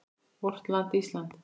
VORT LAND ÍSLAND